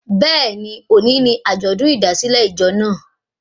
Bẹ́ẹ̀ni, òní ni àjọ̀dún ìdásílẹ̀ ìjọ naa